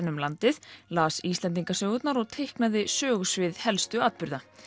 um landið las Íslendingasögurnar og teiknaði sögusvið helstu atburða